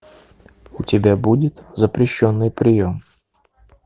у тебя будет запрещенный прием